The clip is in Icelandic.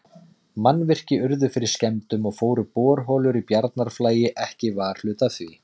Mannvirki urðu fyrir skemmdum, og fóru borholur í Bjarnarflagi ekki varhluta af því.